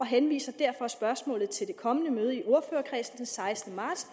henviser derfor spørgsmålet til det kommende møde i ordførerkredsen den sekstende marts